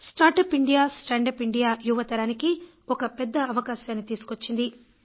start up India stand up India యువతరానికి ఒక పెద్ద అవకాశం తీసుకువచ్చింది